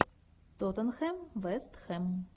тоттенхэм вест хэм